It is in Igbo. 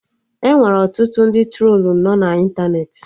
Enwere ọtụtụ ndị trolu nọ na ịntanetị